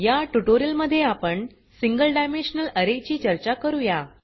या ट्यूटोरियल मध्ये आपण सिंगल डायमेन्शनल अरे ची चर्चा करूया